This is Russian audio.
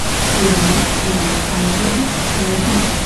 чужой среди айсбергов найди